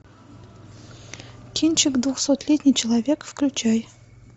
кинчик двухсотлетний человек включай